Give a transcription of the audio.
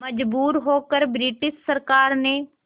मजबूर होकर ब्रिटिश सरकार ने